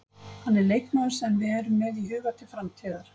Hann er leikmaður sem við erum með í huga til framtíðar.